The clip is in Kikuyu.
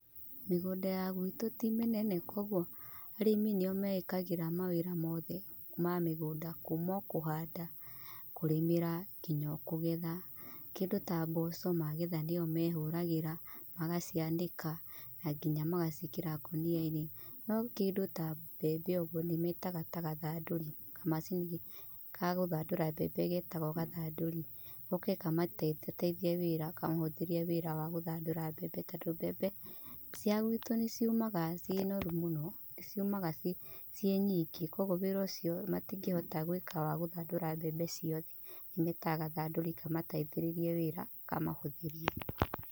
Mĩgũnda ya gwitũ ti mĩnene koguo arĩmi nĩo meĩkagĩra maũndũ mothe ma mĩgũnda kuma o kũhanda, kũrĩmĩra, nginya o kũgetha. kĩndũ ta mboco magetha nĩo mehũragĩra, magacianĩka, na nginya magaciĩkĩra ngũnia-inĩ. No kĩndũ ta mbembe ũguo nĩmetaga ta gathandũri, kamacini ka gũthandũra mbembe getagwo gathandũri, goke kamateithateithie wĩra kamahũthĩrie wĩra wa gũthandũra mbembe, tondũ mbembe cia gwitũ nĩ ciumaga ciĩ noru mũno, nĩciumaga ciĩ nying, ĩ koguo wĩra ũcio matingĩhota gwĩka wa gũthandũra mbembe ciothe nĩ metaga gathandũri kamateithĩrĩrie wĩra kamahũthĩrie.